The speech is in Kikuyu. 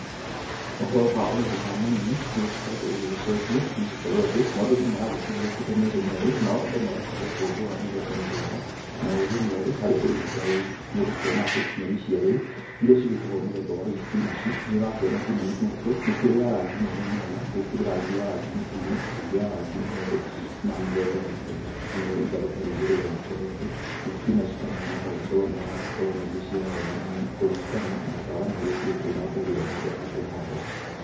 Ũhoro wa ũrĩmi wa manyeni, nĩũgĩgĩkoretwo ũgĩgĩcenjia, nĩ gũkorwo atĩ, maũndũ nomaragĩthie magĩũkĩte merũ merũ, nao Andũ magakĩgĩa ũgĩ wa mĩthemba mĩthemba na ũgĩ mwerũ harĩ ũrĩmi ta ũyũ. Nĩũgũkĩona atĩ, nyeni cia rĩũ iria cĩgĩtagwo mũthemba wa ithibinaci, nĩũrakĩona nginya mĩkũritũ nĩkũrĩ ya rangi mwanya mwanya. Gũkĩrĩ rangi ya rangi mũtune, ĩngĩ ya rangi mwerũ, na mĩthemba mĩthemba. Narĩo itharũ ta rĩrĩ rĩgagĩkorwo atĩ ithibinaci ta maya magagĩkorwo nĩmaragĩkorwo magĩgĩciara wega mũno, kũringana na ũtaramu ũrĩa ũkĩrĩ kuo, na mbegũ ĩrĩa Mũndũ akĩhanda.